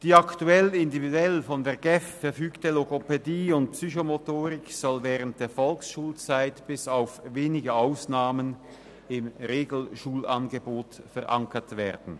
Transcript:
Die aktuell individuell von der GEF verfügte Logopädie und Psychomotorik soll während der Volksschulzeit bis auf wenige Ausnahmen im Regelschulangebot verankert werden.